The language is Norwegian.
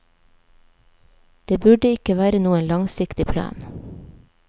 Det burde ikke være noen langsiktig plan.